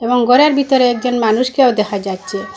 এবং ঘরের বিতরে একজন মানুষকেও দেখা যাচ্চে ।